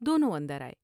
دونوں اندر آئے ۔